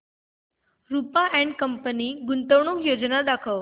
Rupa and company गुंतवणूक योजना दाखव